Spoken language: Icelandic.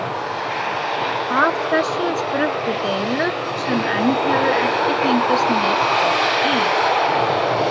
Af þessu spruttu deilur sem enn hefur ekki fengist neinn botn í.